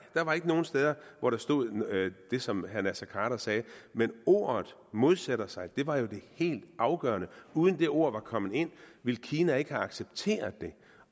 der var ikke nogen steder hvor der stod det som herre naser khader sagde men ordene modsætter sig var jo det helt afgørende uden at de ord var kommet ind ville kina ikke have accepteret det